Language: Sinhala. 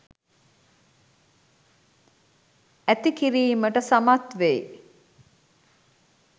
ඇති කිරීමට සමත් වෙයි.